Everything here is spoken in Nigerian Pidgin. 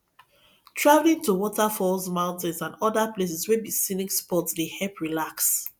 travelling to waterfalls mountain and oda places wey be scenic spot dey help relax